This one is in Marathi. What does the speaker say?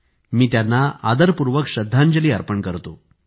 मि त्यांना आदरपूर्वक श्रद्धांजली अर्पण करतो